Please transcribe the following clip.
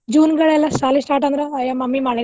June ಶಾಲಿ start ಅದ್ರ ಅಯ್ಯ mummy ಮಳೆಗಾಲ